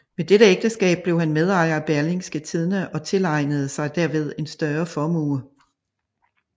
Ved dette ægtskab blev han medejer af Berlingske Tidende og tilegnede sig derved en større formue